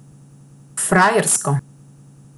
Frajersko!